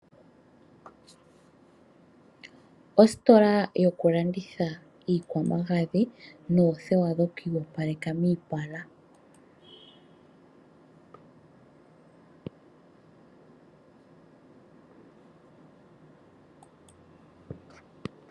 Ositola yokulanditha iikwamagadhi noothewa dhokwii yopaleka miipala.